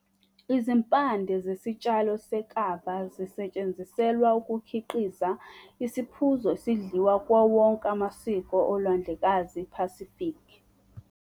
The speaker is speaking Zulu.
Izimpande zesitshalo se-kava zisetshenziselwa ukukhiqiza isiphuzo esidliwa kuwo wonke amasiko oLwandlekazi iPacific.